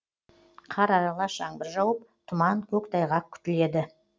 қар аралас жаңбыр жауып тұман көктайғақ күтіледі